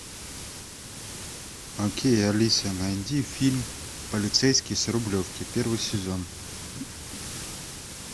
окей алиса найди фильм полицейский с рублевки первый сезон